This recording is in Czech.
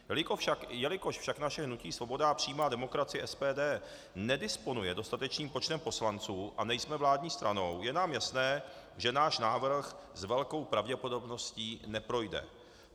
Jelikož však naše hnutí Svoboda a přímá demokracie - SPD nedisponuje dostatečným počtem poslanců a nejsme vládní stranou, je nám jasné, že náš návrh s velkou pravděpodobností neprojde.